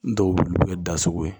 Dɔw bɛ wuli olu bɛ da sogo ye